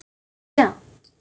Vann þrjá.